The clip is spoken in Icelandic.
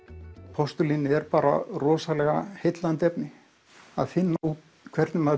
postulín er bara rosalega heillandi efni að finna út hvernig maður